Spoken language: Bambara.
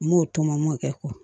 N m'o tɔmɔ m'o kɛ